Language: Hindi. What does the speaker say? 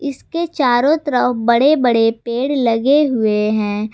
इसके चारों तरफ बड़े बड़े पेड़ लगे हुए हैं।